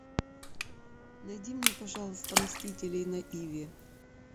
найди мне пожалуйста мстителей на иви